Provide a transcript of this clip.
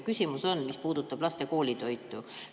Küsimus puudutab laste koolitoitu.